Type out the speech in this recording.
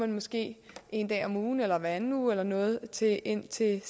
måske en dag om ugen eller hver anden uge eller noget tage ind til